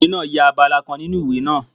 Ọkùnrin náà ya abala kan nínu ìwé náà